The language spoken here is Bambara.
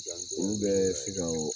Olu bɛɛ